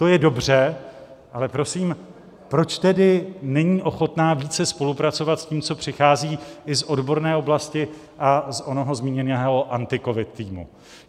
To je dobře, ale prosím, proč tedy není ochotna více spolupracovat s tím, co přichází i z odborné oblasti a z onoho zmíněného AntiCovid týmu?